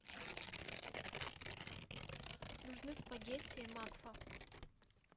нужны спагетти макфа